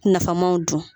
Nafamaw dun